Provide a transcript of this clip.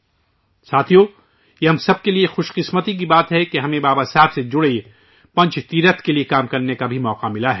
ساتھیو ، یہ ہم سب کے لئے خوش قسمتی کی بات ہے کہ ہمیں بابا صاحب سے جڑے پنچ تیرتھ کے لئے کام کرنے کا موقع بھی ملا ہے